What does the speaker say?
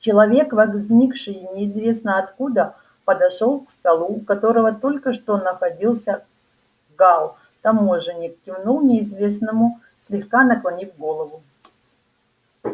человек возникший неизвестно откуда подошёл к столу у которого только что находился гаал таможенник кивнул неизвестному слегка наклонив голову